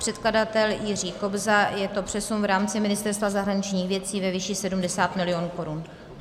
Předkladatel Jiří Kobza, je to přesun v rámci Ministerstva zahraničních věcí ve výši 70 milionů korun.